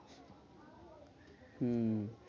হম